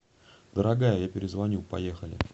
дорогая я перезвоню поехали